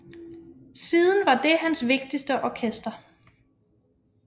Siden var det hans vigtigste orkester